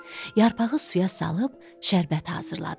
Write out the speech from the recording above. Yarpağı suya salıb, şərbət hazırladı.